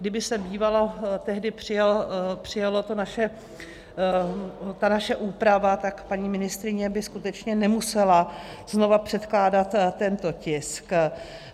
Kdyby se bývala tehdy přijala ta naše úprava, tak paní ministryně by skutečně nemusela znova předkládat tento tisk.